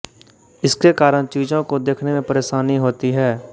इसके कारण चीजों को देखने में परेशानी होती है